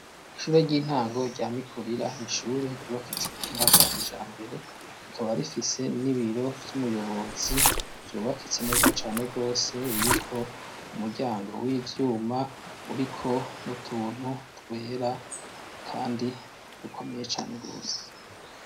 Ishure ry'intango rya Mikurira, n'ishure ryubakitse kubuhinga bwa kijambere rikaba rifise n'ibiro vy'umuyobozi vyubakitse neza cane gose biriko umuryango w'ivyuma uriko n'utuntu twera kandi dukomeye cane gose.